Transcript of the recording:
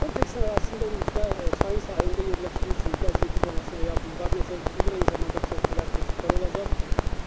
Kompleksin ərazisində ümumilikdə çayın sahilində yerləşdiyi üçün gəzinti zonası və ya bulvar nəzərdə tutulur, eyni zamanda körpülər, keçidlər olacaq.